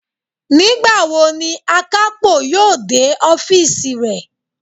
Nígbàwo ni àkápò yóò dé ọ́fììsì rẹ̀?